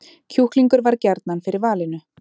Kjúklingur varð gjarnan fyrir valinu